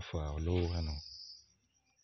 calo